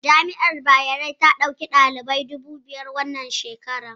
Jami'ar Bayero ta ɗauki ɗalibai dubu biyar a wannan shekarar